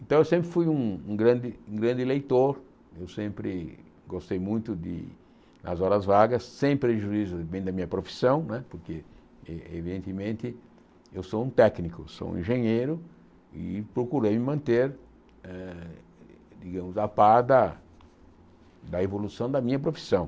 Então, eu sempre fui um um um grande um grande leitor, eu sempre gostei muito de nas horas vagas, sem prejuízo bem da minha profissão né, porque, evidentemente, eu sou um técnico, sou um engenheiro, e procurei me manter, eh digamos, a par da da evolução da minha profissão.